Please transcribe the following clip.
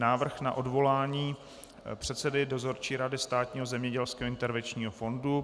Návrh na odvolání předsedy Dozorčí rady Státního zemědělského intervenčního fondu